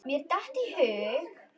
Mér datt í hug.